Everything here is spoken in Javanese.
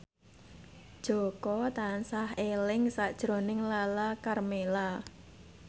Jaka tansah eling sakjroning Lala Karmela